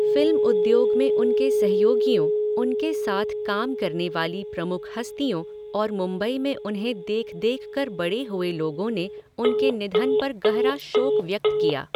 Film उद्योग में उनके सहयोगियों, उनके साथ काम करने वाली प्रमुख हस्तियों और मुंबई में उन्हें देख देख कर बड़े हुए लोगों ने उनके निधन पर गहरा शोक व्यक्त किया।